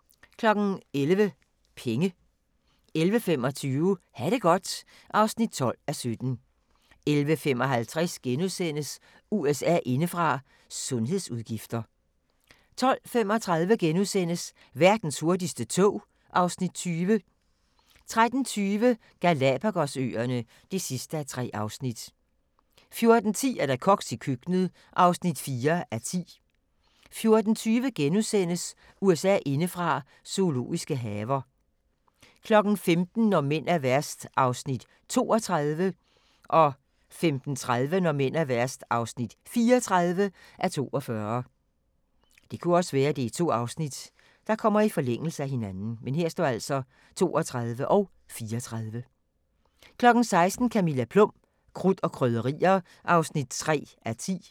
11:00: Penge 11:25: Ha' det godt (12:17) 11:55: USA indefra: Sundhedsudgifter * 12:35: Verdens hurtigste tog (Afs. 20)* 13:20: Galapagos-øerne (3:3) 14:10: Koks i køkkenet (4:10) 14:20: USA indefra: Zoologiske haver * 15:00: Når mænd er værst (32:42) 15:30: Når mænd er værst (34:42) 16:00: Camilla Plum – Krudt og krydderier (3:10)